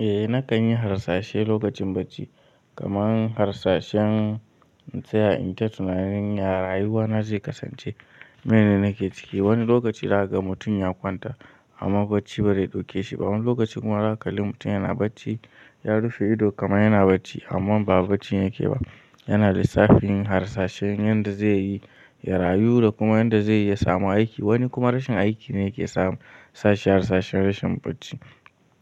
Eh nakan yi harsashi lokacin bacci kamar harsashen in tsaya in ta tunanin ya rayuwa na zai kasance. Mene nake ciki. Wani lokaci za ga ka mutum ya kwanta amma bacci ba zai ɗauke shi ba. Wani lokaci kuma za kalle mutum yana bacci, ya rufe ido kamar yana bacci amma ba bacci yake ba, yana lissafin harsashin yanda zai yi ya rayu da kuma yanda zai iya samu aiki. Wani kuma rashin aiki ne yake sa, sa shi harsashin rashin bacci.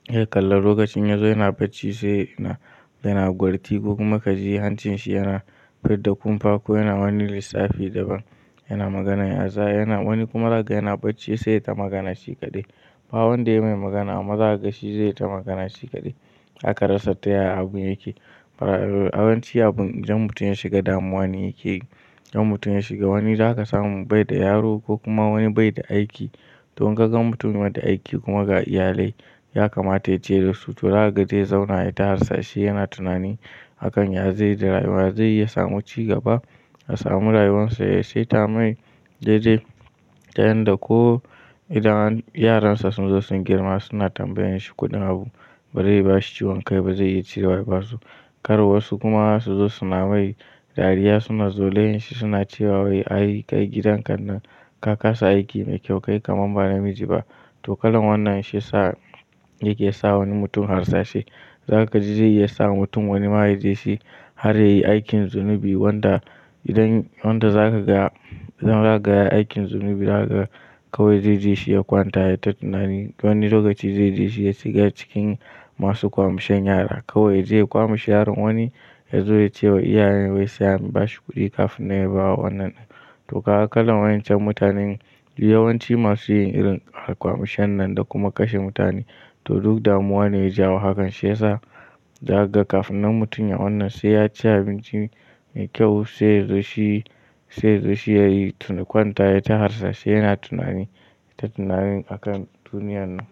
Sai kalla lokacin ya zo yana bacci sai yana, yana gwarti ko kuma ka ji hancin shi yana fidda kumfa ko yana wani lissafi daban. Yana maganar ya za, yana wani kuma za ka ga yana bacci sai ya ta magana shi kaɗai. Ba wanda ya mai magana amma za ka ga shi zai ta magana shi kaɗai. Zaka rasa ta ya abun yake. Fara, yawanci abun idan mutum ya shiga damuwa ne yake yi. Ɗan mutum ya shiga wani za ka samu bai da yaro ko kuma wani bai da aiki. To in ka ga mutum bai da aiki kuma ga iyalai, ya kamata ya ciye da su, to za ka ga zai zauna ya ta harsashi, yana tunani a kan ya zai da rayuwa, ya zai iya samu ci gaba, ya samu rayuwarsa ya sai ta mai daidai. Ta yanda ko idan yaransa sun zo sun girma suna tambayan shi kuɗin abu ba zai ba shi ciwon kai ba zai iya cirewa ya ba su. Kar wasu kuma su zo suna ma wai, dariya suna zolayan yin shi suna cewa “wai ai kai gidan ka nan ka kasa aiki mai kyau kai kamar ba namiji ba”. To kalan wannan shi ya sa yake sa wani mutum harsashi. Za ka ji zai iya sa wani mutum wani ma ya je shi, har ya yi aikin zunubi wanda idan wanda za ka ga ya, idan za ka ga ya aikin zunubi za ka ga kowai zai ji shi ya kwanta ya ta tunani. Wani lokaci zai ji shi ya shiga cikin masu kwamishan yara. Kawai ya je yi kwamishi yaron wani ya zo ya ce wa iyayen wai sai an ba shi kuɗi kafin na yi bawa wannan. To kaga kalan wayancan mutanen yawanci masu yin irin kwamishan nan da kuma kashe mutane. To duk damuwa ne ya jawo hakan. Shi ya sa za ka ga kafin nan mutum ya wannan sai ya ci abinci mai kyau sai ya zo shi, sai ya zo shi ya yi kwanta ya ta harsashi yana tunani, ya ta tunani a kan duniyar nan.